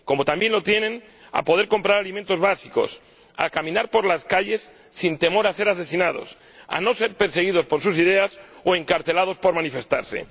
Como también lo tienen a poder comprar alimentos básicos, a caminar por las calles sin temor a ser asesinados, a no ser perseguidos por sus ideas o encarcelados por manifestarse.